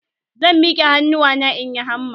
Zan mike hannuwana in yi hamma.